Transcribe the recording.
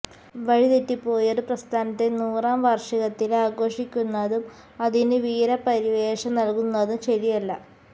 വഴിതെറ്റിപ്പോയൊരു പ്രസ്ഥാനത്തെ നൂറാം വാര്ഷികത്തില് ആഘോഷിക്കുന്നതും അതിനു വീരപരിവേഷം നല്കുന്നതും ശരിയല്ല